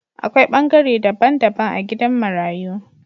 A Kwai bangare dabban dabban a gidan marayu.